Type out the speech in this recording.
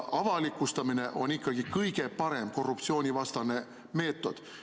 Avalikustamine on ikkagi kõige parem korruptsioonivastane meetod.